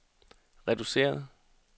reduceret